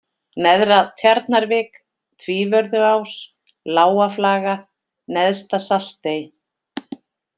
Neðra-Tjarnarvik, Tvívörðuás, Lágaflaga, Neðsta-Saltey